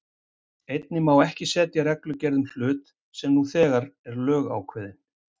Einnig má ekki setja reglugerð um hlut sem nú þegar er lögákveðinn.